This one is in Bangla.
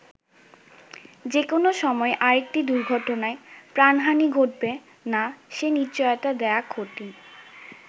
যে কোন সময় আরেকটি দুর্ঘটনায় প্রাণহানি ঘটবে না সে নিশ্চয়তা দেওয়া কঠিন।